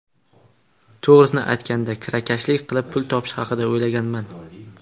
To‘g‘risini aytganda, kirakashlik qilib pul topish haqida o‘ylaganman.